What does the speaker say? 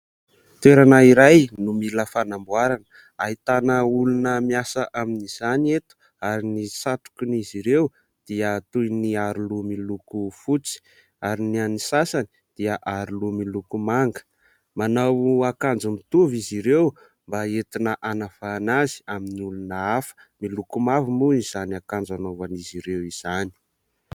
Toerana iray no mila fanamboarana : ahitana olona miasa amin'izany eto ary ny satrokan' izy ireo dia toy ny aroloha miloko fotsy ary ny any sasany dia aroloha miloko manga. Manao akanjo mitovy izy ireo mba entina anavahana azy amin'ny olona hafa, miloko mavo moa izany akanjo anaovan'izy ireo izany.